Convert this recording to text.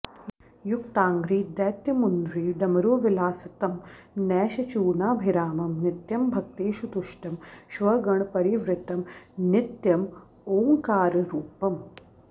युक्ताङ्घ्रि दैत्यमुन्ध्री डमरुविलसितं नैशचूर्णाभिरामं नित्यं भक्तेषु तुष्टं श्वगणपरिवृतं नित्यमोङ्काररूपम्